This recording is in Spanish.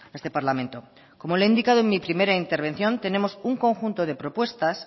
este parlamento como le he indicado en mi primera intervención tenemos un conjunto de propuestas